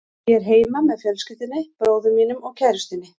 Ég er heima með fjölskyldunni, bróður mínum og kærustunni.